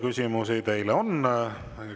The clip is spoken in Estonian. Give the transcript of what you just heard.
Küsimusi teile on.